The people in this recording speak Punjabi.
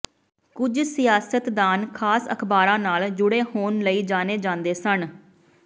ਕੁਝ ਸਿਆਸਤਦਾਨ ਖਾਸ ਅਖਬਾਰਾਂ ਨਾਲ ਜੁੜੇ ਹੋਣ ਲਈ ਜਾਣੇ ਜਾਂਦੇ ਸਨ